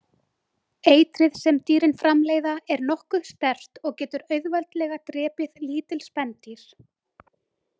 Eitrið sem dýrin framleiða er nokkuð sterkt og getur auðveldlega drepið lítil spendýr.